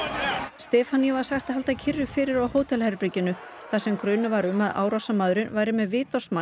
Stefaníu var sagt að halda kyrru fyrir á hótelherberginu þar sem grunur var um að árásarmaðurinn væri með vitorðsmann